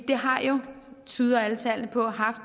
det har jo tyder alle tal på haft